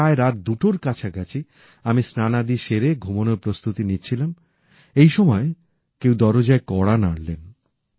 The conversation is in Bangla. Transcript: প্রায় রাত দুটোর কাছাকাছি আমি স্নানাদি সেরে ঘুমানোর প্রস্তুতি নিচ্ছিলাম এই সময় কেউ দরজায় কড়া নাড়লেন